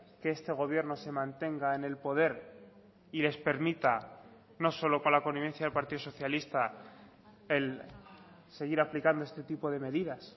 que este gobierno se mantenga en el poder y les permita no solo con la connivencia del partido socialista el seguir aplicando este tipo de medidas